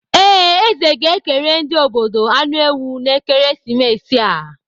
Ee, eze ga-ekere ndị obodo anụ ewu n'ekeresimesi a.